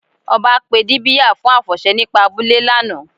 Ọ̀bá pé díbíà fún afọṣẹ̀ nípà àbúlẹ̀ lána.